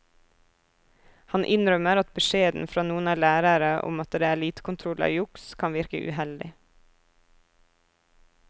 Han innrømmer at beskjeden fra noen lærere om at det er lite kontroll av juks kan virke uheldig.